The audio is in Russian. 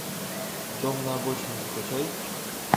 дом на обочине закачай